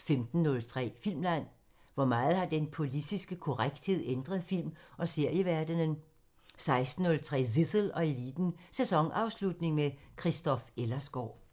15:03: Filmland: Hvor meget har den politiske korrekthed ændret film- og serieverdenen? 16:03: Zissel og Eliten: Sæsonafslutning med Christoph Ellersgaard